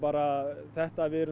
þetta að við erum